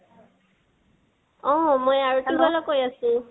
অ মই আৰতেৱালাই কৈ আছো